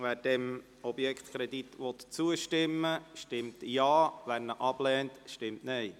Wer dem Objektkredit zustimmen will, stimmt Ja, wer diesen ablehnt, stimmt Nein.